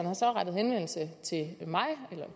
har så rettet henvendelse til